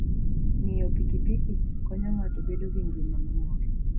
Ng'iyo pikipiki konyo ng'ato bedo gi ngima mamor.